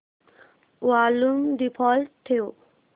volume default ठेव